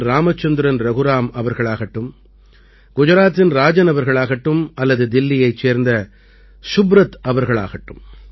ராமச்சந்திரன் ரகுராம் அவர்களாகட்டும் குஜராத்தின் ராஜன் அவர்களாகட்டும் அல்லது தில்லியைச் சேர்ந்த சுப்ரத் அவர்களாகட்டும்